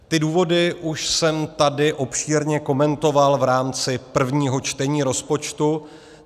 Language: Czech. Ty důvody už jsem tady obšírně komentoval v rámci prvního čtení rozpočtu.